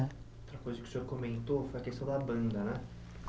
Outra coisa que o senhor comentou foi a questão da banda, né?